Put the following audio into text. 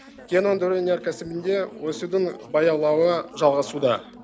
кен өндіру өнеркәсібінде өсудің баяулауы жалғасуда